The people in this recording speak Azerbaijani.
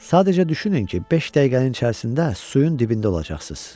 Sadəcə düşünün ki, beş dəqiqənin içərisində suyun dibində olacaqsınız.